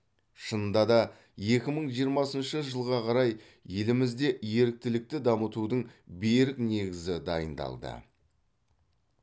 шынында да екі мың жиырмасыншы жылға қарай елімізде еріктілікті дамытудың берік негізі дайындалды